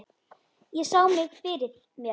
Ég sá mig fyrir mér.